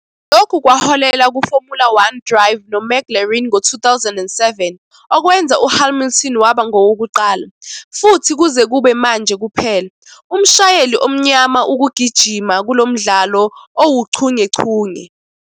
Lokhu kwaholela kuFormula One drive noMcLaren ngo-2007, okwenza uHamilton waba ngowokuqala, futhi kuze kube manje kuphela, umshayeli omnyama ukugijima kulo mdlalo owuchungechunge.